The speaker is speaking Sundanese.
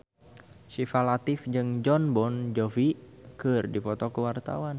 Syifa Latief jeung Jon Bon Jovi keur dipoto ku wartawan